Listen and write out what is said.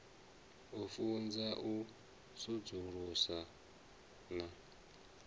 u funza u sudzulusa na